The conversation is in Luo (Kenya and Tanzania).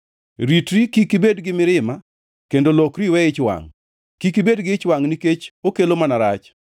Ritri kik ibed gi mirima kendo lokri iwe ich wangʼ kik ibed gi ich wangʼ nikech okelo mana rach.